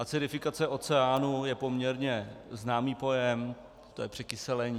Acidifikace oceánu je poměrně známý pojem, je to překyselení.